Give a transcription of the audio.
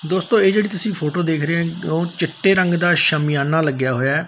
ਦੋਸਤੋਂ ਇਹ ਜਿਹੜੀ ਤੁਸੀਂ ਫ਼ੋਟੋ ਦੇਖ ਰਹੇ ਹੋ ਓਹ ਚਿੱਟੇ ਰੰਗ ਦਾ ਸ਼ਮਿਆਨਾਂ ਲੱਗਿਆ ਹੋਇਆ ਹੈ।